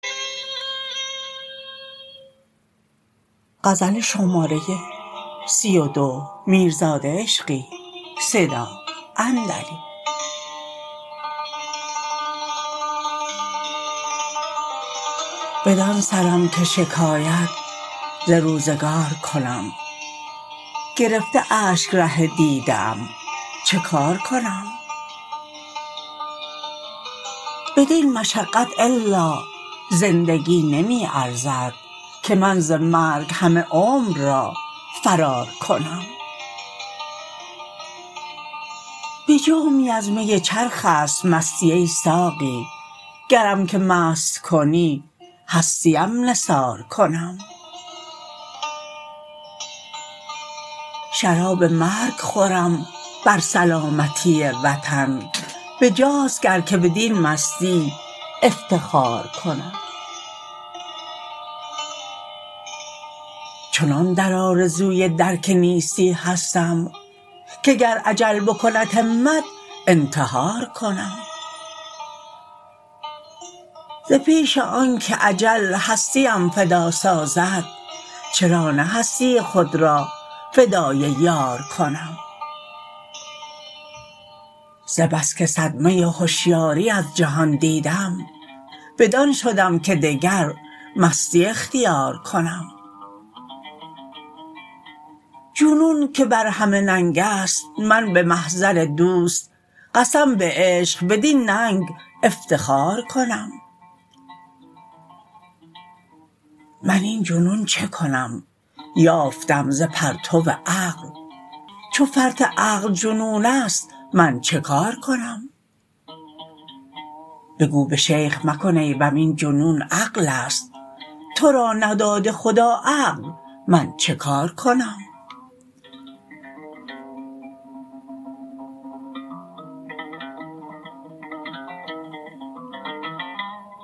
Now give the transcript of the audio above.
بدان سرم که شکایت ز روزگار کنم گرفته اشک ره دیده ام چه کار کنم بدین مشقت الا زندگی نمی ارزد که من ز مرگ همه عمر را فرار کنم به جامی از می چرخ است مستی ای ساقی گرم که مست کنی هستیم نثار کنم شراب مرگ خورم بر سلامتی وطن به جاست گر که بدین مستی افتخار کنم چنان در آرزوی درک نیستی هستم که گر اجل بکند همت انتحار کنم ز پیش آن که اجل هستیم فدا سازد چرا نه هستی خود را فدای یار کنم ز بس که صدمه هشیاری از جهان دیدم بدان شدم که دگر مستی اختیار کنم جنون که بر همه ننگ است من به محضر دوست قسم به عشق بدین ننگ افتخار کنم من این جنون چه کنم یافتم ز پرتو عقل چو فرط عقل جنون است من چه کار کنم بگو به شیخ مکن عیبم این جنون عقل است ترا نداده خدا عقل من چه کار کنم